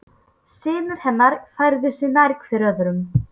Synir hennar færðu sig nær hver öðrum.